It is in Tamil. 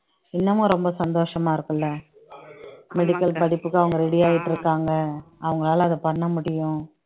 இன்னமும் ரொம்ப சந்தோஷமா இருக்கும் இல்ல medical படிப்புக்கு அவங்க ready ஆயிட்டு இருக்காங்க அவங்களால அதை பண்ண முடியும்